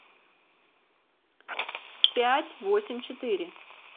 пять восемь четыре